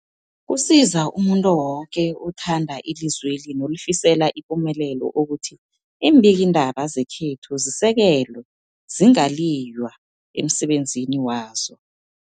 Kusiza umuntu woke othanda ilizweli nolifisela ipumelelo ukuthi iimbikiindaba zekhethu zisekelwe, zingaliywa emsebenzini wazo.